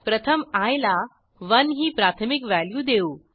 प्रथम आय ला 1ही प्राथमिक व्हॅल्यू देऊ